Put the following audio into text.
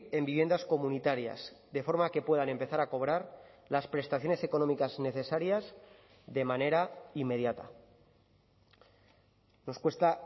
en viviendas comunitarias de forma que puedan empezar a cobrar las prestaciones económicas necesarias de manera inmediata nos cuesta